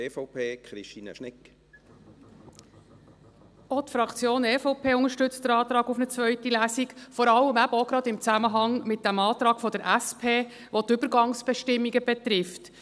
Auch die Fraktion EVP unterstützt den Antrag auf eine zweite Lesung, vor allem eben auch gerade im Zusammenhang mit dem Antrag der SP, der die Übergangsbestimmungen betrifft.